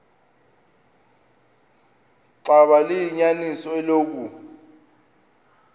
xaba liyinyaniso eloku